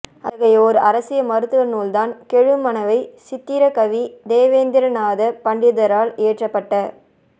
அத்தகைய ஓர் அரிய மருத்துவ நூல்தான் கெழுமணவை சித்திரக்கவி தேவேந்திரநாத பண்டிதரால் இயற்றப்பட்ட